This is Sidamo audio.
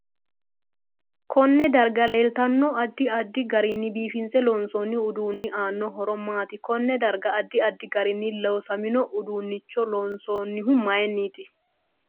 Konne darga leeltano addi addi garinni biifinse loonsooni uduuni aano horo maati koone darga addi addi garini loosamino uduunicho loonsoonihu mayiiniiti